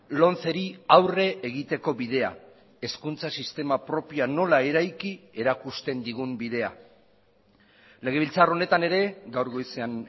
lomceri aurre egiteko bidea hezkuntza sistema propioa nola eraiki erakusten digun bidea legebiltzar honetan ere gaur goizean